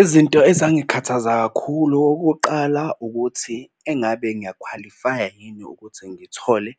Izinto ezangikhathaza kakhulu okokuqala ukuthi engabe ngiyakhwalifaya yini ukuthi ngithole